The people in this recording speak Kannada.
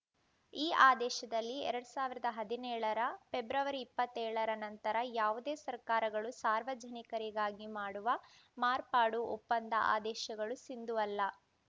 ಈ ಆದೇಶದಲ್ಲಿ ಎರಡ್ ಸಾವಿರದ ಹದಿನೇಳರ ಫೆಬ್ರವರಿ ಇಪ್ಪತ್ತೆಳರ ನಂತರ ಯಾವುದೇ ಸರ್ಕಾರಗಳು ಸಾರ್ವಜನಿಕರಿಗಾಗಿ ಮಾಡುವ ಮಾರ್ಪಾಡು ಒಪ್ಪಂದ ಆದೇಶಗಳು ಸಿಂಧುವಲ್ಲ